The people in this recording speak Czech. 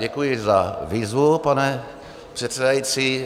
Děkuji za výzvu, pane předsedající.